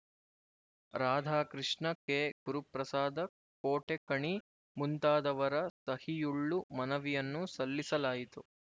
ರಾಧಾಕೃಷ್ಣ ಕೆಗುರುಪ್ರಸಾದ ಕೋಟೆಕಣಿ ಮುಂತಾದವರ ಸಹಿಯುಳ್ಳು ಮನವಿಯನ್ನು ಸಲ್ಲಿಸಲಯಿತು